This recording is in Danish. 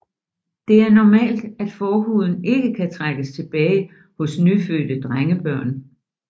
Det er normalt at forhuden ikke kan trækkes tilbage hos nyfødte drengebørn